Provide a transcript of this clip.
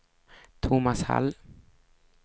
Tomas Hall